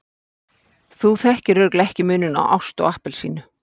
Þú þekkir örugglega ekki muninn á ást og appelsínu.